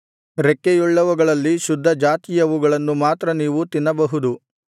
ರೆಕ್ಕೆಯುಳ್ಳವುಗಳಲ್ಲಿ ಶುದ್ಧ ಜಾತಿಯವುಗಳನ್ನು ಮಾತ್ರ ನೀವು ತಿನ್ನಬಹುದು